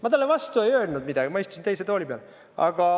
Ma talle vastu ei öelnud midagi, ma istusin teise tooli peale.